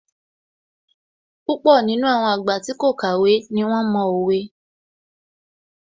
Púpọ̀ nínú àwọn àgbà tí kò kàwé ní wón mo òwe